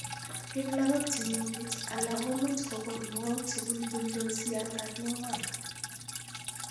En lagok chemengech, alamek komuch kokon mook chebulbuldos yan kagingwar